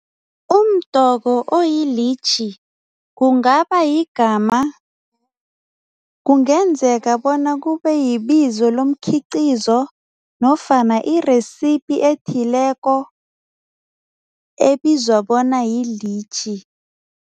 Umdoko oyilitjhi kungaba yigama kungenzeka bona kube yibizo lomikhiqizo nofana i-recipe ethileko ebizwa bona yilitjhi.